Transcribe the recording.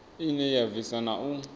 ine ya bvisa na u